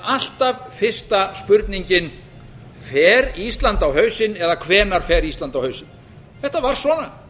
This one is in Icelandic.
alltaf fyrsta spurningin fer ísland á hausinn eða hvenær fer ísland á hausinn þetta var svona